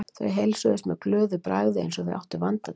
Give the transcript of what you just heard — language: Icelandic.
Þau heilsuðust með glöðu bragði eins og þau áttu vanda til.